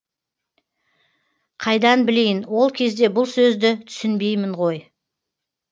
қайдан білейін ол кезде бұл сөзді түсінбеймін ғой